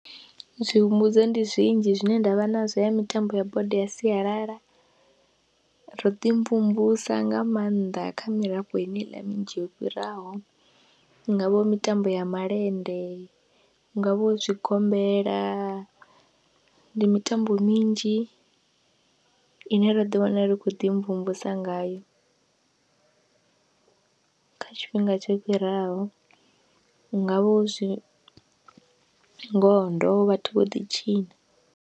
Zwi humbudzo ndi zwinzhi zwine ndavha nazwo ya mitambo ya bodo ya sialala, ro ḓi mvumvusa nga maanḓa kha mirafho heneiḽa minzhi yo fhiraho, hu ngavha hu mitambo ya malende, hu ngavha hu zwigombela ndi mitambo minzhi ine ro ḓi wana ri khou ḓi mvumvusa ngayo kha tshifhinga tsho fhiraho, hu ngavha hu zwingodo vhathu vho ḓi tshina.